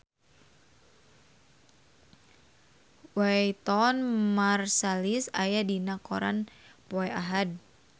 Wynton Marsalis aya dina koran poe Ahad